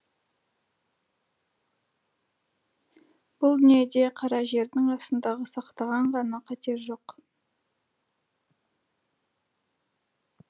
бұл дүниеде қара жердің астындағы сақтан ғана қатер жоқ